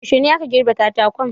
Yuashe ne aka girbe katakon?